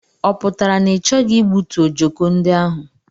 Ọ pụtara na i choghi igbutu ọjọko ndị ahụ?